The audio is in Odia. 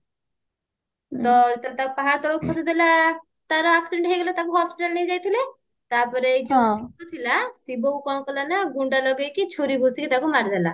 ତ ଯେତେବେଳେ ତାକୁ ପାହାଡ ତଳକୁ ଖସେଇ ଦେଲା ତାର accident ହେଇଗଲା ତାକୁ hospital ନେଇଯାଇଥିଲେ ତାପରେ ଏଇ ଯୋଉ ସିଦ୍ଧୁ ଥିଲା ଶିବ କୁ କଣ କଲା ନା ଗୁଣ୍ଡା ଲଗେଇକି ଛୁରୀ ଭୁସିକି ତାକୁ ମାରିଦେଲା